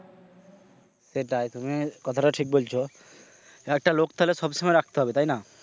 সেটাই তুমি কথা টা ঠিক বলছো একটা লোক তাহলে সবসময় রাখতে হবে তাই না?